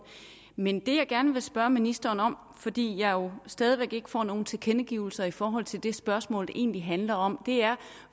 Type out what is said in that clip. men det jeg gerne vil spørge ministeren om fordi jeg jo stadig væk ikke får nogen tilkendegivelser i forhold til det spørgsmål det egentlig handler om er